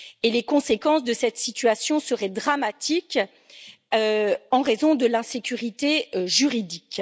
Les conséquences de cette situation seraient dramatiques en raison de l'insécurité juridique.